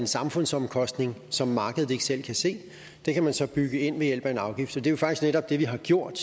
samfundsomkostninger som markedet ikke selv kan se kan man så bygge ind ved hjælp af en afgift det er jo faktisk netop det vi har gjort